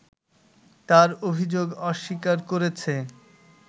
তার অভিযোগ অস্বীকার করেছে